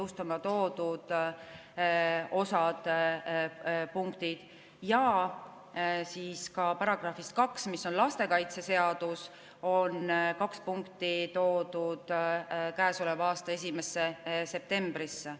Ka § 2 kahe punkti jõustumine, lastekaitseseadus, on toodud käesoleva aasta 1. septembrile.